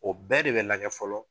O bɛɛ de bɛ lagɛ fɔlɔ